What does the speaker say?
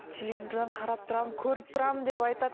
телевизордан қарап тұрамын көріп тұрамын деп айтады